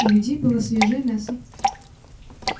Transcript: у людей было свежее мясо